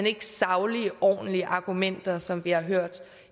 ikke saglige ordentlige argumenter som vi har hørt